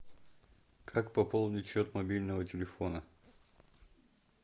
как пополнить счет мобильного телефона